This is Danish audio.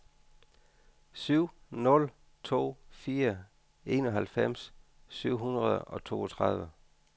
syv nul to fire enoghalvfems syv hundrede og toogtredive